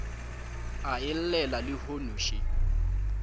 a e llela lehono še